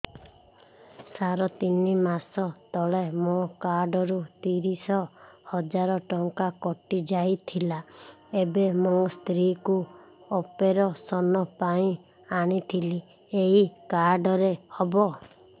ସାର ତିନି ମାସ ତଳେ ମୋ କାର୍ଡ ରୁ ତିରିଶ ହଜାର ଟଙ୍କା କଟିଯାଇଥିଲା ଏବେ ମୋ ସ୍ତ୍ରୀ କୁ ଅପେରସନ ପାଇଁ ଆଣିଥିଲି ଏଇ କାର୍ଡ ରେ ହବ